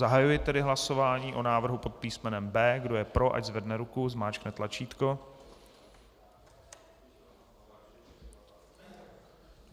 Zahajuji tedy hlasování o návrhu pod písmenem B. Kdo je pro, ať zvedne ruku, zmáčkne tlačítko.